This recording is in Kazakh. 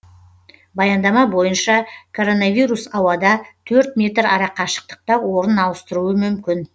баяндама бойынша коронавирус ауада төрт метр арақашықтықта орнын ауыстыруы мүмкін